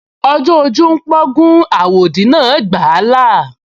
Ọjọ́ ojú ń pọ́n igún, àwòdì náà gbà á là